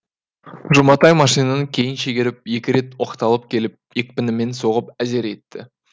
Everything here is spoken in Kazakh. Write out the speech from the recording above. жұматай машинаны кейін шегеріп екі рет оқталып келіп екпінімен соғып әзер етті